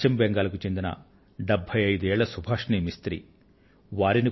పశ్చిమ బెంగాలు కు చెందిన డెభ్భై ఐదు ఏళ్ల వయస్సున్న సుభాషిణి మిస్త్రీ గారు